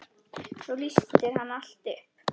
Svo lýsir hann allt upp.